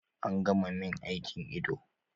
An gama min aikin ido